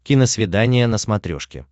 киносвидание на смотрешке